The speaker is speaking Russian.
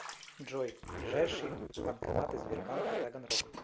джой ближайшие банкоматы сбербанка таганрог